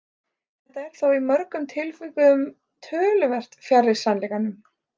Þetta er þó í mörgum tilvikum töluvert fjarri sannleikanum.